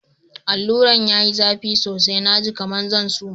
Alura'n ya yi zafi sosai, na ji kaman zan suma.